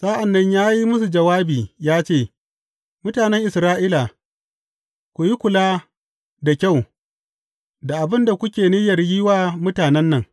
Sa’an nan ya yi musu jawabi ya ce, Mutanen Isra’ila, ku yi kula da kyau da abin da kuke niyyar yi wa mutanen nan.